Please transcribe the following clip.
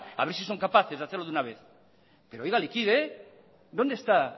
a ver si son capaces de hacerlo de una vez pero oiga liquide dónde está